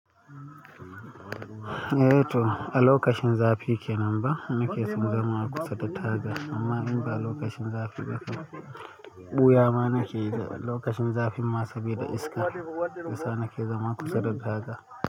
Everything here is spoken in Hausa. Eh to a lokacin zafi kenan ba, ni ke son zama a kusa da taga amma in ba lokacin zafi ba kai, ɓuya ma ni ke. Lokacin zafi ma saboda iska, yasa ni ke zama kusa da daji.